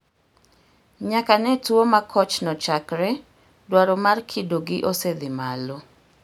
Nyaka ne tuo makochno chakre, dwaro mar kidogi osedhi malo.